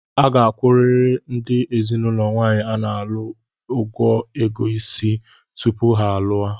a ga-akwụrịrị ndị ezinụlọ nwaanyị a na-alụ ug ego Ịsị tupu ha alụọ.